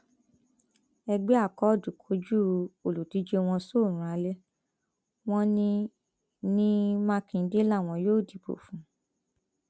ẹgbẹ akọọdù kọjú olùdíje wọn sóòrùn alẹ wọn ní ní mákindé làwọn yóò dìbò fún